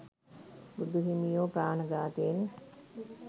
බුදු හිමියෝ ප්‍රාණ ඝාතයෙන්,